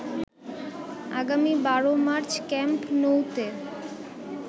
আগামী ১২ March camp নউতে